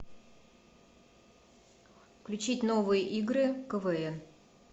включить новые игры квн